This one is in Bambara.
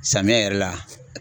Samiyɛ yɛrɛ la.